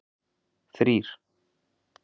þrír